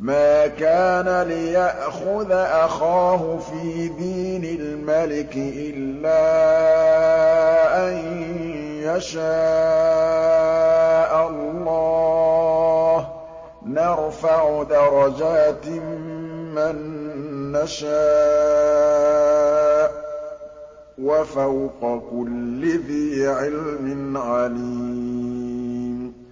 مَا كَانَ لِيَأْخُذَ أَخَاهُ فِي دِينِ الْمَلِكِ إِلَّا أَن يَشَاءَ اللَّهُ ۚ نَرْفَعُ دَرَجَاتٍ مَّن نَّشَاءُ ۗ وَفَوْقَ كُلِّ ذِي عِلْمٍ عَلِيمٌ